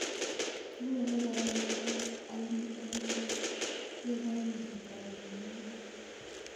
Kikole kora eng arawek ang'wan akoi loo ye kokabat kolset ne tai